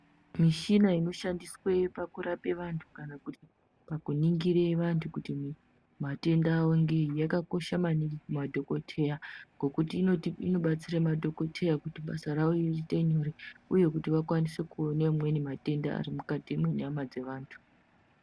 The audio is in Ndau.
Mishina inoshandiswe pakurape vantu kana pakuningire vandu kuti matenda avongeenyi yakakosha maningi kumadhokodheya ngokuti inobatsire madhokodheya kutibasa rawo riite nyore uye kuti vakwanise kuone amweni matenda arimukati mwenyama dzevantu